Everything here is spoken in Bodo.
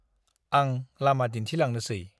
आं लामा दिन्थिलांनोसै ।